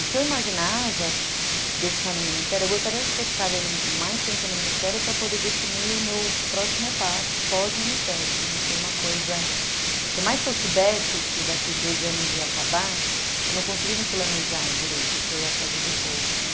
O que eu imaginava de eu ficar no Ministério, eu gostaria de ter ficado mais tempo no Ministério para poder definir o meu próximo passo pós-Ministério, de não ser uma coisa... Por mais que eu soubesse que daqui dois anos ia acabar, eu não conseguia me planejar direito o que eu ia fazer depois, né?